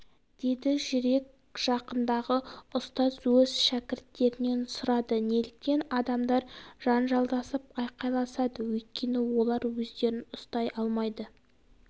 деді жүрек жақындығы ұстаз өз шәкірттерінен сұрады неліктен адамдар жанжалдасып айқайласады өйткені олар өздерін ұстай алмайды